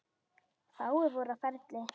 Fáir voru á ferli.